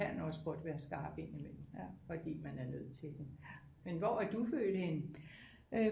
Kan også godt være skarp indimellem fordi man er nødt til det men hvor er du født henne